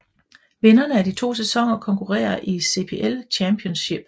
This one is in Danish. Vinderne af de to sæsoner konkurrerer i CPL Championship